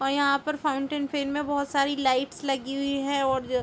और यहाँ पर फाउन्टन फेन मे बहुत सारी लाइट लगी हुई है और ज--